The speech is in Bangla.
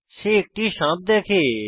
সে একটি সাপ দেখে